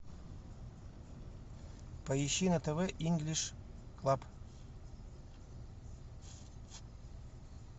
поищи на тв инглиш клаб